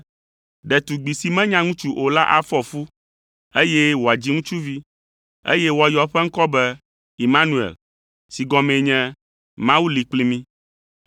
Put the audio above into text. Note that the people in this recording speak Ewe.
“Ɖetugbi si menya ŋutsu o la afɔ fu, eye wòadzi ŋutsuvi, eye woayɔ eƒe ŋkɔ be, Imanuel” (si gɔmee nye, “Mawu li kpli mí ”).